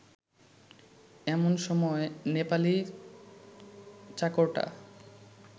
এমন সময় নেপালি চাকরটা